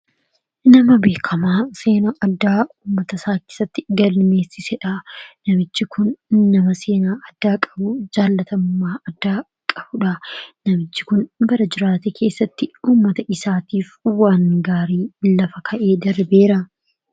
nama beekamaa seenaa addaa ummata saakisatti galmeessisedha namichi kun nama seenaa addaa qabu jaalatammaa adda qabuudha namichi kun bara jiraata keessatti ummata isaatiif uwa'an gaarii lafa ka'ee darbeera